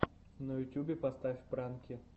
на ютюбе поставь пранки